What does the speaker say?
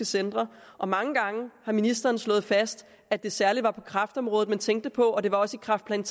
centre og mange gange har ministeren slået fast at det særlig var kræftområdet man tænkte på og det var også i kræftplan